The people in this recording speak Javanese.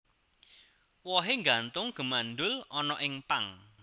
Wohé nggantung gémbandul ana ing pang